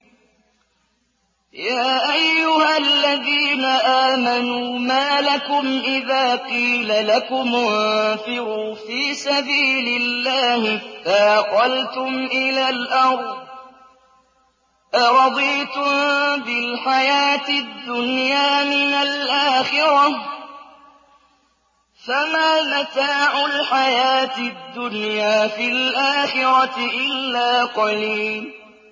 يَا أَيُّهَا الَّذِينَ آمَنُوا مَا لَكُمْ إِذَا قِيلَ لَكُمُ انفِرُوا فِي سَبِيلِ اللَّهِ اثَّاقَلْتُمْ إِلَى الْأَرْضِ ۚ أَرَضِيتُم بِالْحَيَاةِ الدُّنْيَا مِنَ الْآخِرَةِ ۚ فَمَا مَتَاعُ الْحَيَاةِ الدُّنْيَا فِي الْآخِرَةِ إِلَّا قَلِيلٌ